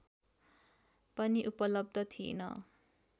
पनि उपलब्ध थिएन